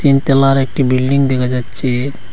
তিনতলার একটি বিল্ডিং দেখা যাচ্চে।